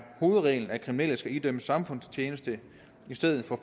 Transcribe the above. hovedreglen at kriminelle skal idømmes samfundstjeneste i stedet for